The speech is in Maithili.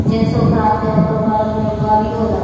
जेंट्सो खड़ा छै ओकर बगल मे एगो गाड़ियों लगल --